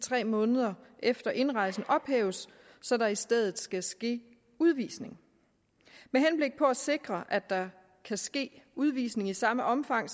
tre måneder efter indrejse ophæves så der i stedet skal ske udvisning med henblik på at sikre at der kan ske udvisning i samme omfang